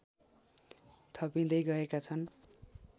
थपिँदै गएका छन्